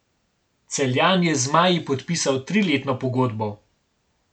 Celjan je z zmaji podpisal triletno pogodbo.